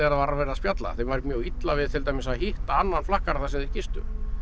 var verið að spjalla þeim var mjög illa við að hitta annan flakkara þar sem þeir gistu